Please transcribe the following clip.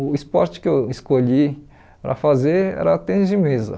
O esporte que eu escolhi para fazer era tênis de mesa.